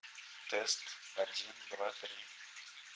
тест один два три